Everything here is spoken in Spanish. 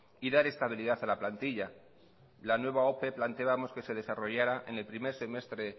y dar estabilidad a la plantilla la nueva ope planteábamos que se desarrollara en el primer semestre